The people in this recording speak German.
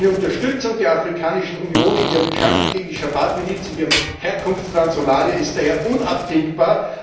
Eine Unterstützung der Afrikanischen Union in ihrem Kampf gegen die asch Schabab Miliz in ihrem Herkunftsland Somalia ist daher unabdingbar.